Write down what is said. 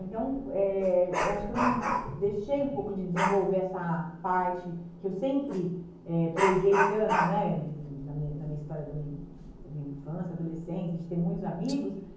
Então, eh eu acho que eu não deixei um pouco de desenvolver essa parte que eu sempre eh presei tanto né enfim na min na minha história da min da minha infância, adolescência, de ter muitos amigos.